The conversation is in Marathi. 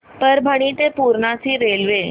परभणी ते पूर्णा ची रेल्वे